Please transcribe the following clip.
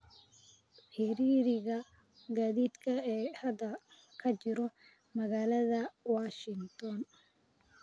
ciriiriga gaadiidka ee hadda ka jira magaalada Washington